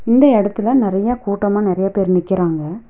இந்த எடத்துல நறைய கூட்டமா நறைய பேர் நிக்கிறாங்க.